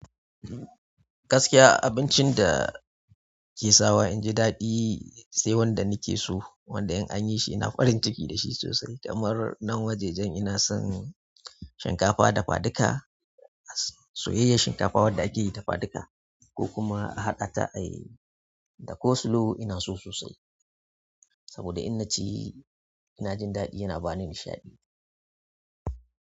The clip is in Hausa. Gaskiya abincin da ke sawa inji daɗi sai wanda nike so, wanda in anyi shi ina farin ciki da shi sosai. Damar nan wajajen ina son shinkafa dafaduka, soyayyar shinkafa wadda akeyi dafaduka ko kuma a haƙa ta ayi da coleslaw ina so sosai. Saboda in naci ina jin daɗi yana bani nishaɗi.